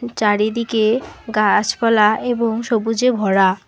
চারিদিকে গাছপালা এবং সবুজে ভরা।